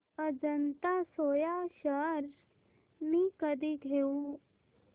Ajanta soya shares मी कधी घेऊ